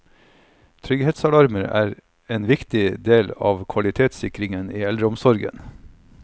Trygghetsalarmer er en viktig del av kvalitetssikringen i eldreomsorgen.